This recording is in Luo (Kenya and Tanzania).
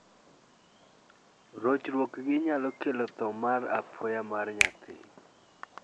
Rochruogni nyalo kelo tho ma apoya mar nyathi.